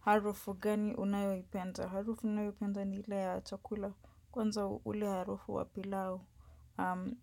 Harufu gani unayoipenda? Harufu ninayoipenda ni ile ya chakula kwanza ule harufu wa pilau.